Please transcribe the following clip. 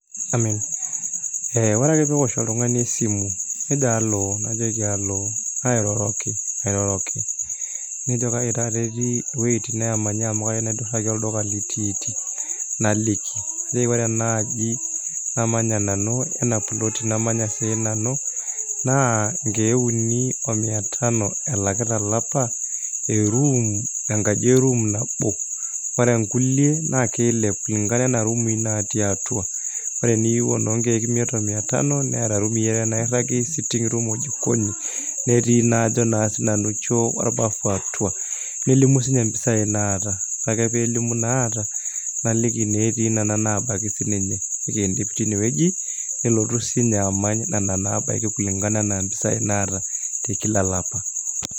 Ore ake pee eosh oltung'ani esimu nejo halo najoki halo nairoroki nairoroki nejo kai taata etii iweuitin naamanyi amu kayieu naidurraki olduka litiiti naliki najoki ore ena aji namanya nanu ena ploti namanya sinanu naa nkeek uni o mia tano[cs[ elaki tolapa enkaji e room nabo ore nkulie naa kiilep kulingana enaa ruumi naatii atua ore eniyieu enoo nkeek imiet omia tano neeta irumii are nairragi sitting room[cs[ o jikoni netii naa ajo sinanu choo orbarasa atua nelimu siinye impisaai naata ore ake peelimu inaata naliki ineetii nena naabaiki sininye nikiindip tinewueji nelotu sininye amany nena naabaiki kulingana enaa mpisaai naata te kila olapa.